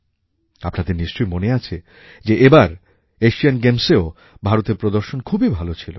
আপনাদের নিশ্চয় মনে আছে যে এবার এশিয়ান গেমসেও ভারতের প্রদর্শন খুবই ভালো ছিল